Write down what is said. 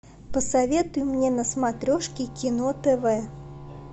посоветуй мне на смотрешке кино тв